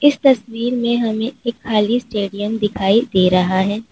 इस तस्वीर में हमें एक खाली स्टेडियम दिखाई दे रहा है।